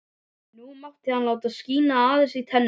Nú mátti hann láta skína aðeins í tennurnar.